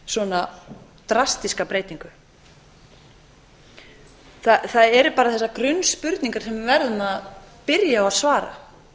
svona drastíska breytingu það eru bara þessar grunnspurningar sem við verðum að byrja á að svara